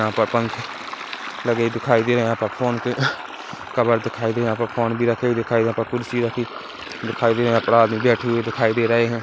यहाँ पर पंख लगे दिखाई दे रहे है यहाँ पर फोन के कवर दिखाई दे रहे यहाँ पर फोन भी रखे दिखाई दे रहे है यहाँ पर कुर्सी रखी दिखाई दे रही है यहाँ पे आदमी बैठे हुए दिखाई दे रहे है।